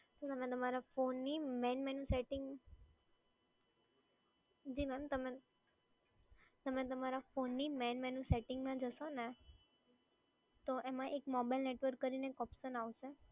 Madam, તમે તમારા ફોનની મેઇન મેનૂ સેટિંગ. જી મેડમ તમે તમે તમારા ફોનની મેઇન મેનૂ સેટિંગમાં જશો ને, તો એમાં મોબાઇલ નેટવર્ક કરીને એક ઓપ્શન આવશે.